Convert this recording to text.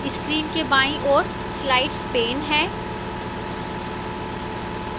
screen के बाईं ओर slides pane है